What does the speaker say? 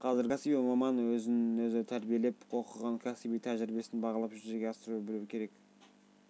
қазіргі кәсіби маман өзін-өзі тәрбиелеп оқыған кәсіби тәжірибесін бағалап жүзеге асыра білу керек